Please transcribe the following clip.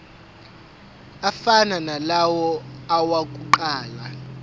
afana nalawo awokuqala